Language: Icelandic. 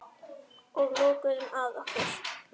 Og lokuðum að okkur.